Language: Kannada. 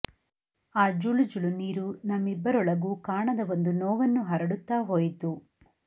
ಆ ಜುಳು ಜುಳು ನೀರು ನಮ್ಮಿಬ್ಬರೊಳಗೂ ಕಾಣದ ಒಂದು ನೋವನ್ನು ಹರಡುತ್ತಾ ಹೋಯಿತು